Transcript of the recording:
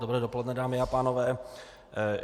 Dobré dopoledne dámy a pánové.